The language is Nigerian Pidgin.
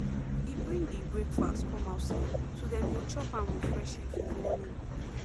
e bring the breakfast come outside so dem go chop am with fresh air for morning